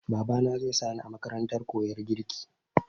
Babana zai sa ni a makarantar koyan girki.